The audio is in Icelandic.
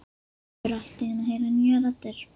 Maður fer allt í einu að heyra nýjar raddir.